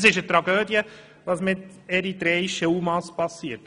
Kolleginnen und Kollegen, es ist eine Tragödie, was mit eritreischen UMA passiert.